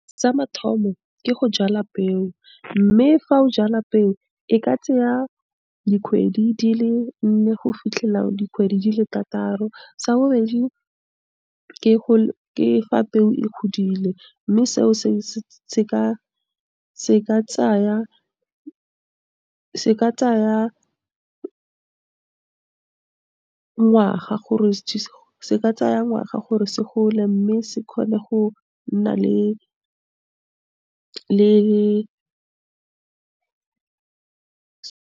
Sa mathomo, ke go jala peo, mme fa o jala peo e ka tseya dikgwedi di le nne go fitlhela dikgwedi di le thataro. Sa bobedi ke go, ke fa peo e godile mme seo, se ka tsaya ngwaga gore se gole mme se kgone go nna le .